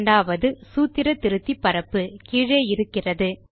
இரண்டாவது சூத்திர திருத்தி பரப்பு கீழே இருக்கிறது